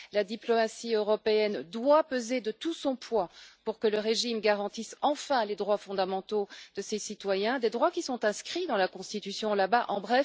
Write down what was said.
La diplomatie européenne doit peser de tout son poids pour que le régime garantisse enfin les droits fondamentaux de ses citoyens, des droits qui sont inscrits dans la constitution chinoise.